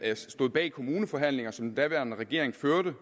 stod bag de kommuneforhandlinger som den daværende regering førte